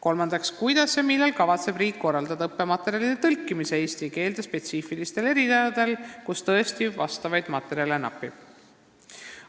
Kolmas küsimus: "Kuidas ja millal kavatseb riik korraldada õppematerjalide tõlkimise eesti keelde spetsiifilistel erialadel, kus tõesti vastavaid materjale napib?